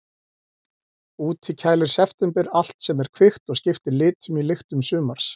Úti kælir september allt sem er kvikt og skiptir litum í lyktum sumars.